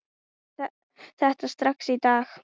Gerðu þetta strax í dag!